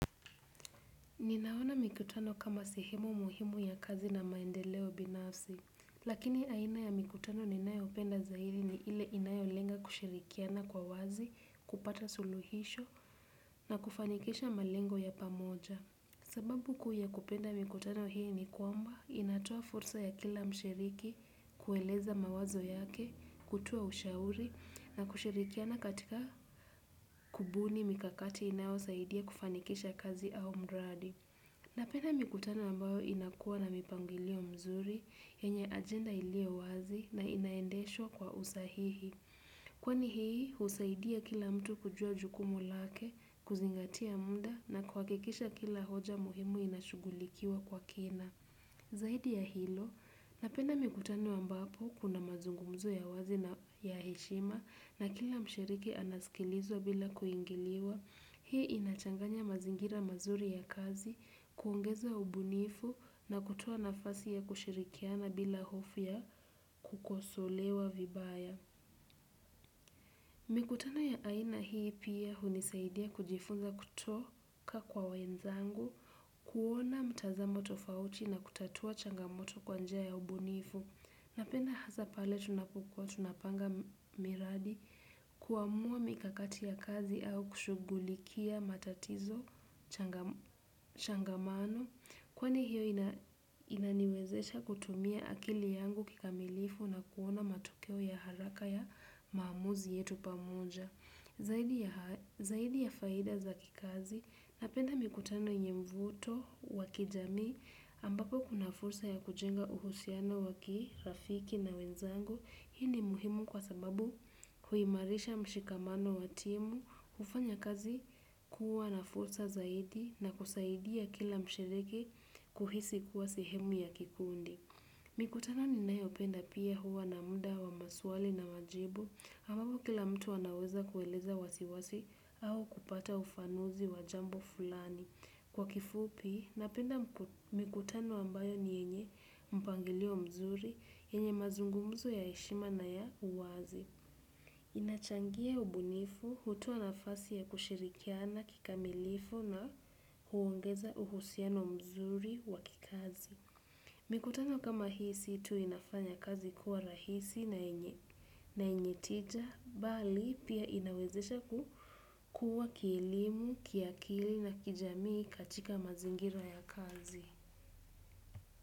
Ninaona mikutano kama sehemu muhimu ya kazi na maendeleo binafsi, lakini aina ya mikutano ninayo penda zaidi ni ile inayo lenga kushirikiana kwa wazi, kupata suluhisho na kufanikisha malengo ya pamoja. Sababu kuu ya kupenda mikutano hii ni kwamba inatoa fursa ya kila mshiriki kueleza mawazo yake, kutoa ushauri na kushirikiana katika kubuni mikakati inayo saidia kufanikisha kazi au mradi. Napenda mikutano ambayo inakua na mipangilio mizuri, yanye agenda iliyo wazi na inaendeshwa kwa usahihi. Kwani hii, husaidia kila mtu kujua jukumu lake, kuzingatia muda na kuhakikisha kila hoja muhimu inashugulikiwa kwa kina. Zaidi ya hilo, napenda mikutano ambapo kuna mazungumzo ya wazi na ya heshima na kila mshiriki anaskilizwa bila kuingiliwa. Hii inachanganya mazingira mazuri ya kazi, kuongeza ubunifu na kutoa nafasi ya kushirikiana bila hofu ya kukosolewa vibaya. Mikutano ya aina hii pia hunisaidia kujifunza kutoka kwa wenzangu, kuona mtazamo tofauti na kutatua changamoto kwanja ya ubunifu. Napenda hasa pale tunapokua tunapanga miradi kuamua mikakati ya kazi au kushughulikia matatizo changamano. Kwani hiyo inaniwezesha kutumia akili yangu kikamilifu na kuona matukio ya haraka ya maamuzi yetu pamoja zaidi ya zaidi ya faida za kikazi, napenda mikutano nye mvuto wa kijamii ambapo kuna fursa ya kujenga uhusiano waki, rafiki na wenzangu. Hii ni muhimu kwa sababu huimarisha mshikamano wa timu kufanya kazi kuwa na fursa zaidi ya kusaidia kila mshiriki kuwa sehemu ya kikundi. Mikutano ninayo penda pia huwa ni muda wa maswali na majibu, ambapo kila mtu anaweza kueleza wasiwasi au kupata ufafanuzi wa jambo fulani. Kwa kifupi, napenda mikutano ambayo ni yenye mpangilio mzuri, yenye mazungumzu ya heshima na ya uwazi. Inachangia ubunifu, hutoa nafasi ya kushirikiana kikamilifu na huongeza uhusiano mzuri wa kikazi. Mikutano kama hii si tu inafanya kazi kuwa rahisi na yenye tija bali pia inawezesha kukua kielimu, kiakili na kijamii katika mazingira ya kazi.